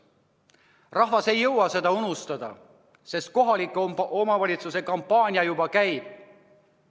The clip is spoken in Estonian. Rahvas ei jõua seda unustada, sest kohalike omavalitsuste valimise kampaania juba käib.